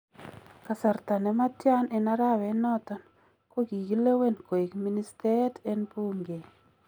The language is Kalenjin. Kasartaa nematyan en arawet noton, kokikilewen koek ministeet en buunke